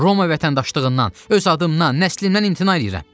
Roma vətəndaşlığından, öz adımdan, nəslimdən imtina eləyirəm.